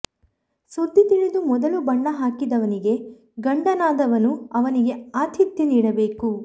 ಸುದ್ದಿ ತಿಳಿದು ಮೊದಲು ಬಣ್ಣ ಹಾಕಿದವನಿಗೆ ಗಂಡನಾದವನು ಅವನಿಗೆ ಆತಿಥ್ಯ ನೀಡಬೇಕು